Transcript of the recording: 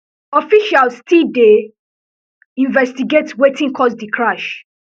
officials still dey investigate wetin cause di crash